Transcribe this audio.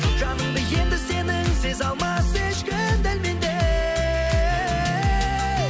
жаныңды енді сенің сезе алмас ешкім дәл мендей